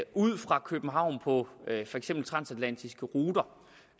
ud fra københavn på for eksempel transatlantiske ruter